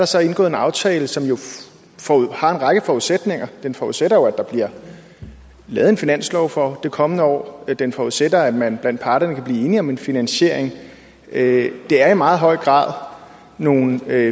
så indgået en aftale som har en række forudsætninger den forudsætter jo at der bliver lavet en finanslov for det kommende år den forudsætter at man blandt parterne kan blive enige om en finansiering det er i meget høj grad nogle